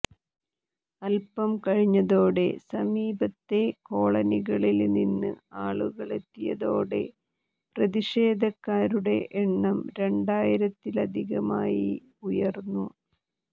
അല്പം കഴിഞ്ഞതോടെ സമീപത്തെ കോളനികളില് നിന്ന് ആളുകളെത്തിയതോടെ പ്രതിഷേധക്കാരുടെ എണ്ണം രണ്ടായിരത്തിലധികമായി ഉയര്ന്നു